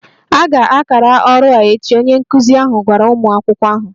A ga-akara ọrụ a echi, onye nkụzi ahụ gwara ụmụ akwụkwọ ahụ